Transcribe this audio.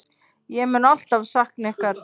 Ég mun alltaf sakna ykkar.